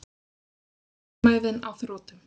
Þolinmæðin á þrotum.